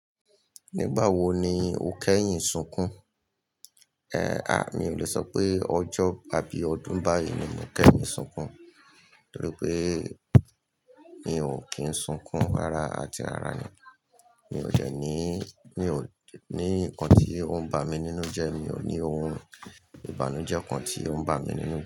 Nígbà wo ni o kẹ́yìn sunkún? Ehn, a, mi ò le sọ pé ọjọ́ abi ọdún báyìí ni mo kẹ́yìn sunkún, torí pé mi ò kín sunkún rara àti rara ni. Mi ò dẹ́ ní, mi ò ní nǹkan tí ó ń ba mi nínú jẹ, mi ò ní ohun ìbànújẹ́ kan tí ó ń ba mi nínú.